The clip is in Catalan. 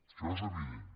això és evident